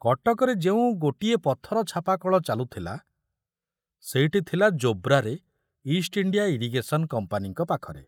କଟକରେ ଯେଉଁ ଗୋଟିଏ ପଥର ଛାପା କଳ ଚାଲୁଥିଲା ସେଇଟି ଥିଲା ଜୋବ୍ରାରେ ଇଷ୍ଟ ଇଣ୍ଡିଆ ଇରିଗେଶନ କମ୍ପାନୀଙ୍କ ପାଖରେ।